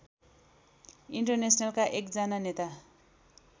इन्टरनेसनलका एकजना नेता